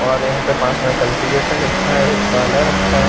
और यहाँ पर पास में कल्टिवेटर रखा है एक पाला रखा है।